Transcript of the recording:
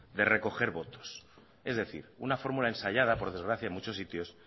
de recoger votos es decir una fórmula ensayada por desgracia en muchos sitios